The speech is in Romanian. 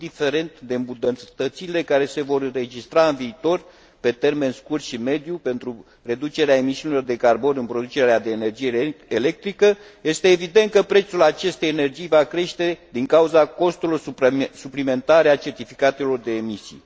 Indiferent de îmbunătățirile care se vor înregistra în viitor, pe termen scurt și mediu, pentru reducerea emisiilor de carbon din producerea de energie electrică, este evident că prețul acestei energii va crește din cauza costurilor suplimentare ale certificatelor de emisii.